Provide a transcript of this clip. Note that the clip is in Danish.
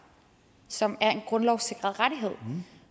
som er en grundlovssikret rettighed